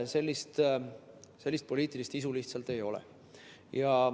Sellist poliitilist isu lihtsalt ei ole.